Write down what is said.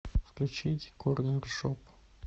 включить корнершоп